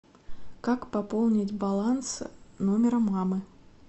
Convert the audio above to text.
как пополнить баланс номера мамы